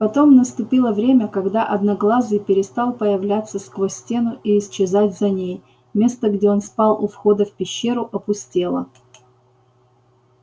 потом наступило время когда одноглазый перестал появляться сквозь стену и исчезать за ней место где он спал у входа в пещеру опустело